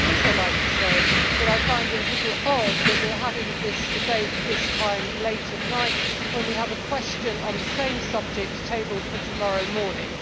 I would also like to say that I find it a little odd that we are having this debate late at night when we have a question on the same subject tabled for tomorrow morning.